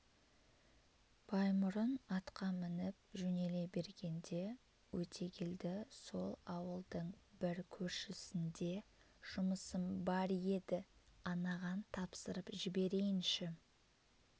баймұрын атқа мініп жөнеле бергенде өтегелді сол ауылдың бір көршісінде жұмысым бар еді анаған тапсырып жіберейінші